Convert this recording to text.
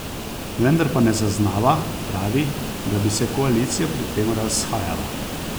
Vendar pa ne zaznava, pravi, da bi se koalicija pri tem razhajala.